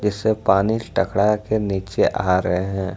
इसे पानी टकरा के नीचे आ रहे हैं।